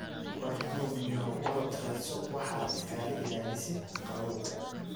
War cunugyahow orodh raadso waxa iskalailalisid kawowga.